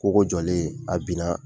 Kogo jɔlen a bin na